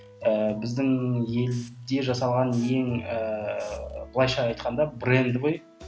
ііі біздің елде жасалған ең ііі былайша айтқанда бренді ғой